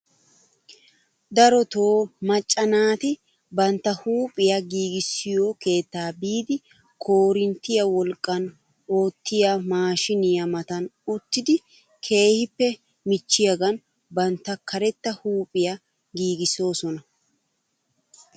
Darotoo macca naati bantta huuphphiyaa giigissiyoo keettaa biidi korinttiyaa wlaqqan oottiyaa maashiniyaa matan uttidi keehippe michchiyaagan bantta karetta huuphphiyaa giigissoosona.